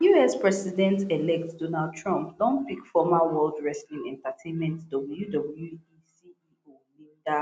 us presidentelect donald trump don pick former world wrestling entertainment wwe ceo linda